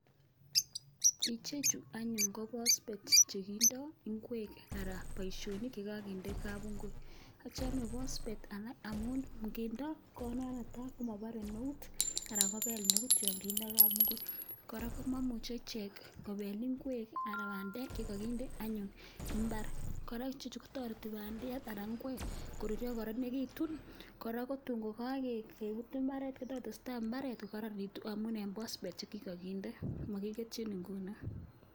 Ichechu anyuun ko phosphate che kindoi ingwek anan boisionik ye kakinde kapuinguut, acham phosphate amun nginde ne tai, komabarei eut anan komapelei eut yon kakinde kapunguut. Kora, komamuchei ichek kopel ingwek anan bandek ye kakindee anyun imbaar, kora, ichechu kotoreti anyun bandek anan ingwek koruryo kokararanitun, kora, ko tuun kokakepuut imbaaret, ko tokotesetai imbaret kokararanitu amun eng phosphate che kikakindee makiketiin nguno.